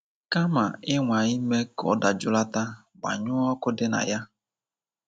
Kama ịnwa ime ka ọ dajụlata, gbanyụọ ọkụ dị na ya.